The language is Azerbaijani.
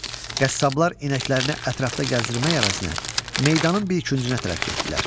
Qəssablar inəklərini ətrafda gəzdirmək əvəzinə meydanın bir küncünə tərəf getdilər.